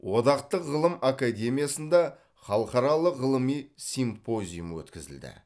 одақтық ғылым академиясында халықаралық ғылыми симпозиум өткізілді